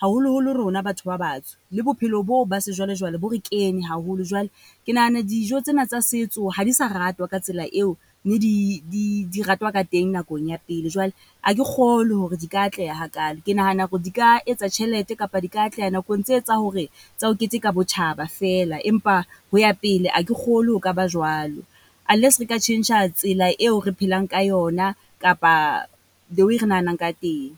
haholoholo rona batho ba batsho. Le bophelo boo ba sejwalejwale bo re kene haholo jwale ke nahana dijo tsena tsa setso ha di sa ratwa ka tsela eo ne di di di ratwa ka teng nakong ya pele. Jwale ha ke kgolwe hore di ka atleha hakalo, ke nahana hore di ka etsa tjhelete kapa di ka atleha nakong tse tsa hore tsa ho keteka botjhaba feela, empa ho ya pele a ke kgolwe, ho ka ba jwalo. Unless re ka tjhentjha tsela eo re phelang ka yona kapa the way re nahanang ka teng.